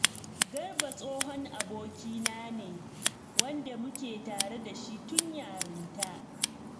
Garba tsohon abokina ne, wanda muke tare da shi tun yarinta